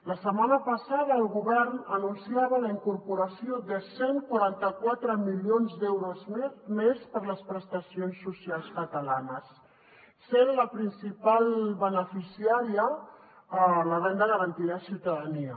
la setmana passada el govern anunciava la incorporació de cent i quaranta quatre milions d’euros més per a les prestacions socials catalanes sent la principal beneficiària la renda garantida de ciutadania